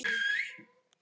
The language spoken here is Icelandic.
Elsku Eyþór Máni.